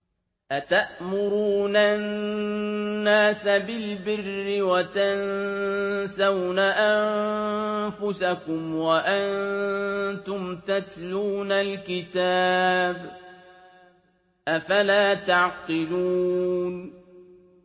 ۞ أَتَأْمُرُونَ النَّاسَ بِالْبِرِّ وَتَنسَوْنَ أَنفُسَكُمْ وَأَنتُمْ تَتْلُونَ الْكِتَابَ ۚ أَفَلَا تَعْقِلُونَ